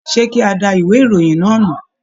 Ṣe kí a dá ìwé ìròyìn náà nù?